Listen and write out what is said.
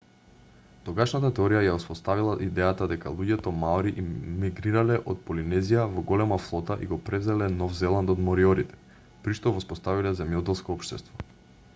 тогашната теорија ја воспоставила идејата дека луѓето маори мигрирале од полинезија во голема флота и го превзеле нов зеланд од мориорите при што воспоставиле земјоделско општество